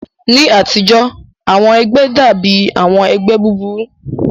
Ní ayé àtijọ́, àwọn ẹgbẹ́ dàbí àwọn ẹgbẹ́ búburú